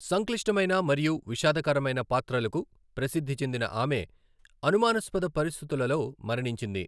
సంక్లిష్టమైన మరియు విషాదకరమైన పాత్రలకు ప్రసిద్ధి చెందిన ఆమె అనుమానాస్పద పరిస్థితులలో మరణించింది.